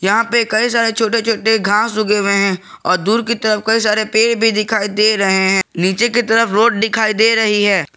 यहां पे कई सारे छोटे छोटे घास उगे हुए हैं और दूर की तरफ कई सारे पेड़ भी दिखाई दे रहे हैं नीचे की तरफ रोड दिखाई दे रही है।